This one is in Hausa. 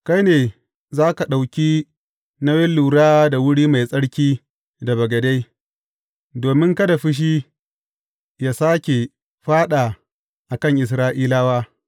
Kai ne za ka ɗauki nauyin lura da wuri mai tsarki da bagade, domin kada fushi yă sāke fāɗa a kan Isra’ilawa.